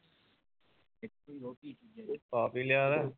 ਆਪ ਹੀ ਲਿਆ ਹੈ